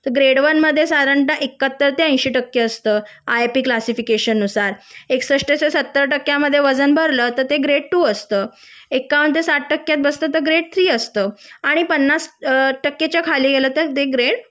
तर grade one मध्ये साधारण एक्काहत्तर ते एंशि टक्के असत आयपी क्लासिफिकेशन नुसार एकसषष्ठ ते सत्तर च्या मध्ये वजन भरल तर ते ग्रेड टू असत एकावन ते साठ टक्केत असेल तर ग्रेड थ्री असत आणि पन्नास टक्केच्या खाली गेल तर ते ग्रेड